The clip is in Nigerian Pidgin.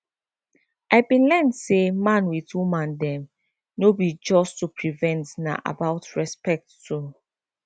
i bin learn say man with woman dem no be just to prevent na about respect too